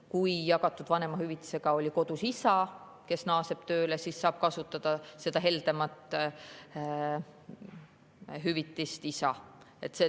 Kui jagatud vanemahüvitisega oli kodus isa, kes naaseb tööle, siis saab seda heldemat hüvitist kasutada isa.